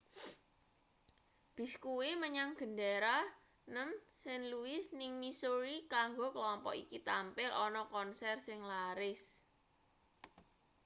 bis kuwi menyang gendera nem st louis ning missouri kanggo klompok iki tampil ana konser sing laris